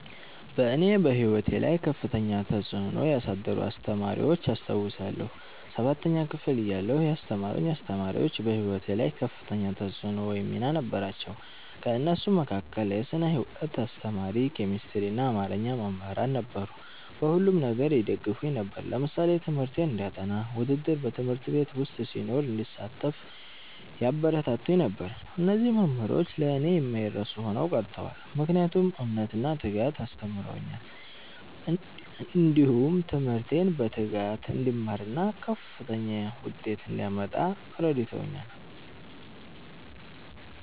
እኔ በሕይወቴ ላይ ከፍተኛ ተጽዕኖ ያሳደሩ አስተማሪዎችን አስታውሳለሁ። ሠባተኛ ክፍል እያለሁ ያስተማሩኝ አስተማሪዎች በህይወቴ ላይ ከፍተኛ ተፅዕኖ ወይም ሚና ነበራቸው። ከእነሱም መካከል የስነ ህይወት አስተማሪ፣ ኬሚስትሪና አማርኛ መምህራን ነበሩ። በሁሉም ነገር ይደግፉኝ ነበር። ለምሳሌ ትምህርቴን እንዳጠ፤ ውድድር በ ት/ቤት ዉስጥ ሲኖር እንድሳተፍ ያበረታቱኝ ነበር። እነዚህ መምህሮች ለእኔ የማይረሱ ሆነው ቀርተዋል። ምክንያቱም እምነትን እና ትጋትን አስተምረውኛል። እንዲሁም ትምህርቴን በትጋት እንድማርና ከፍተኛ ዉጤት እንዳመጣ እረድተውኛል።